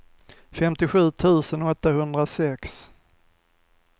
femtiosju tusen åttahundrasex